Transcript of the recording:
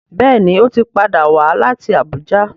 Béèni o tí pàdà wá láti Abuja.